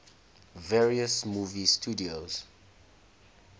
various movie studios